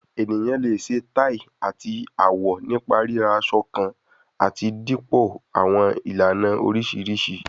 Eniyan le ṣe tai ati awọ nipa rira asọ kan ati dipọ ni awọn ilana oriṣiriṣi